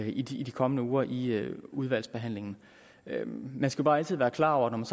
i de de kommende uger i i udvalgsbehandlingen man skal bare altid være klar over at når man